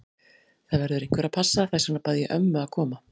Það verður einhver að passa, þess vegna bað ég ömmu að koma.